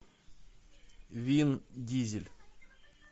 вин дизель